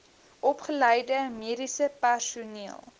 opgeleide mediese personeel